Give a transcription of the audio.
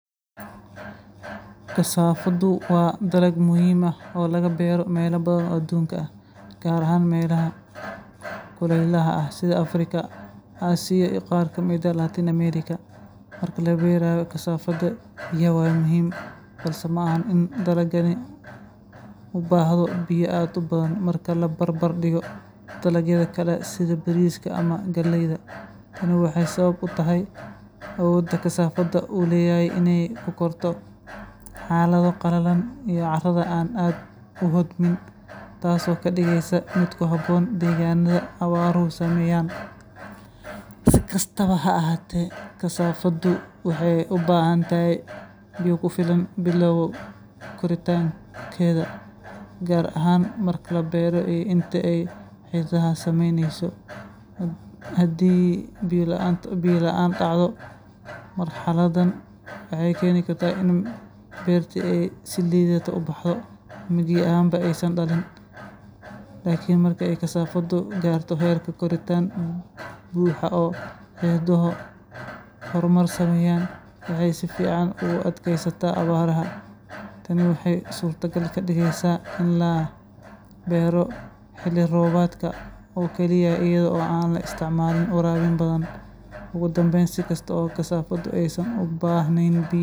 Kasaafada, oo ah dhir muhiim ah oo beeraha lagu beero, waxay u baahan tahay biyo ku filan si ay si wanaagsan u korto una hesho natiijooyin wanaagsan. Marka la beerayo kasaafada, biyo badan ayaa muhiim ah sababtoo ah dhirtani waxay leedahay xididdo aan aad u qoto dheerayn, taasoo ka dhigaysa inay si sahlan uga faa’iideysato biyaha dusha sare ee ciidda. Biyaha badan waxay ka caawiyaan kasaafada inay hesho nafaqooyin muhiim ah oo ku milmay biyaha, sida fosfooraska, iyo potassiumka, kuwaas oo dhirta ka caawiya inay si fiican u koraan una yeeshaan caleemo cagaaran oo caafimaad qaba.